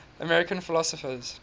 american philosophers